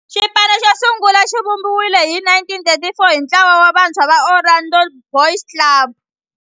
Xipano xosungula xivumbiwile hi 1934 hi ntlawa wa vantshwa va Orlando Boys Club.